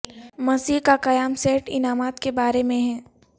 مسیح کا قیام سیٹ انعامات کے بارے میں ہے